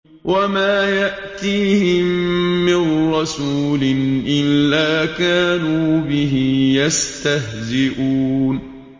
وَمَا يَأْتِيهِم مِّن رَّسُولٍ إِلَّا كَانُوا بِهِ يَسْتَهْزِئُونَ